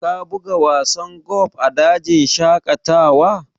Ka buga wasan golf a dajin shaƙatawa?